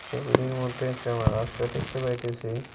ছবিটির মধ্যে একটা আমরা রাস্তা দেখতে পাইতেসি।